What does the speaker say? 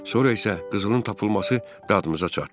Sonra isə qızılın tapılması dadımıza çatdı.